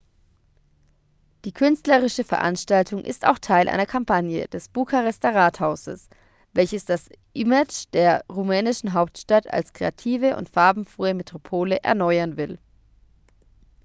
die künstlerische veranstaltung ist auch teil einer kampagne des bukarester rathauses welches das image der rumänischen hauptstadt als kreative und farbenfrohe metropole erneuern will